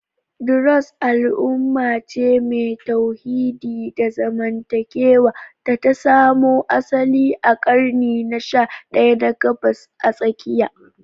Druze is a monotheistic religious and social community that emerged in the 11th century in the Middle East